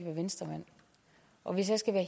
venstremand og hvis jeg skal være